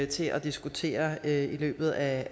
til at diskutere i løbet af